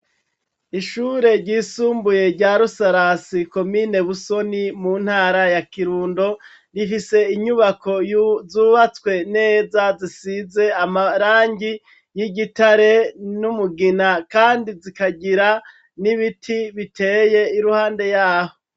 Ishure ryisumbuye rya Rusarasi komine Busoni mu ntara ya Kirundo, rifise inyubako zubatswe neza zisize amarangi y'igitare n'umugina kandi zikagira n'ibiti biteye iruhande yaho.